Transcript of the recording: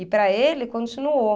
E para ele, continuou.